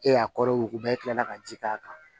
E y'a kɔrɔ yuguba e kilala ka ji k'a kan